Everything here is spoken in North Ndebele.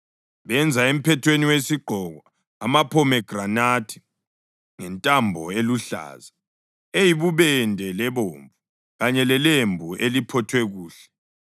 Benza emphethweni wesigqoko amaphomegranathi ngentambo eluhlaza, eyibubende lebomvu, kanye lelembu eliphothwe kuhle.